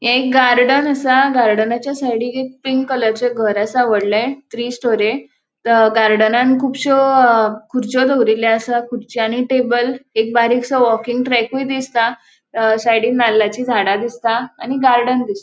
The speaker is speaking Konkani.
ये एक गार्डन असा गार्डनाच्या साइडिक एक पिंक कलरचे घर असा वोडले अ थ्री स्टोरे अ गार्डनान कूबशो खुर्चो दोवरीले असा खुर्च आणि टेबल एक बारिकसो वॉकिंग ट्रेकुय दिसता अ साइडीन नाल्लाचि झाडा दिसता आणि गार्डन दिसता.